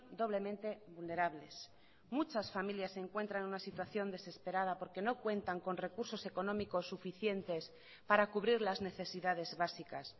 doblemente vulnerables muchas familias se encuentran en una situación desesperada porque no cuentan con recursos económicos suficientes para cubrir las necesidades básicas